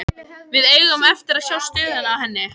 Við eigum eftir að sjá stöðuna á henni.